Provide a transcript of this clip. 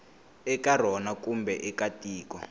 eka rona kumbe eka tiko